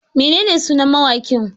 Menene sunan mawaƙin?